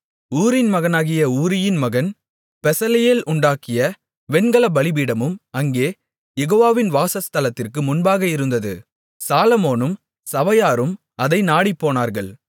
ஊரின் மகனாகிய ஊரியின் மகன் பெசலெயேல் உண்டாக்கிய வெண்கலப் பலிபீடமும் அங்கே யெகோவாவின் வாசஸ்தலத்திற்கு முன்பாக இருந்தது சாலொமோனும் சபையாரும் அதை நாடிப்போனார்கள்